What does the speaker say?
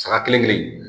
Saga kelen kelen